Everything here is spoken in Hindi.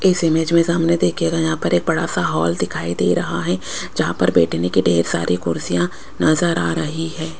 इस इमेज में सामने देखियेगा यहां पर एक बड़ासा हॉल दिखाई दे रहा हैं जहां पर बैठने के ढेर सारी कुर्सियां नजर आ रही है।